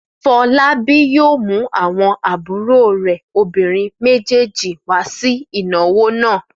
Fọlábí yóò mú àwọn àbúrò rẹ̀ obìnrin méjèèjì wá sí ìnáwó náà!